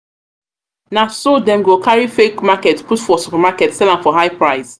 na so dem go carry fake market put for supermarket sell am for high price.